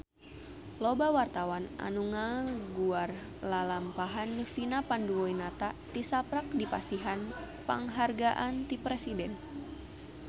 Loba wartawan anu ngaguar lalampahan Vina Panduwinata tisaprak dipasihan panghargaan ti Presiden